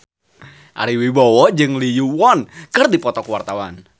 Ari Wibowo jeung Lee Yo Won keur dipoto ku wartawan